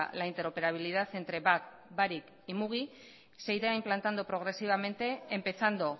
la interoperabilidad entre bat barik y mugi se irá implantando progresivamente empezando